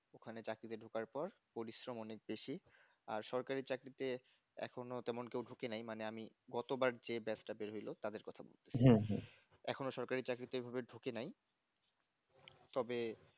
ওখানে চাকরিতে ঢোকার পর পরিশ্রম অনেক বেশি আর সরকারি চাকরিতে এখনো তেমন কেউ ঢুকে নাই মানে আমি গতবার যে batch টা বের হলো তাদের কথা বলতেছি এখনো সরকারি চাকরিতে এভাবে ঢুকে নাই তবে